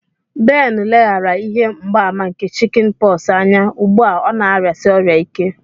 Ben leghaara ihe mgbaàmà nke Chicken pox anya, ugbu a ọ na-arịasi ọrịa ike.